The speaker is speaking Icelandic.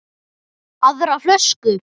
Aðra flösku?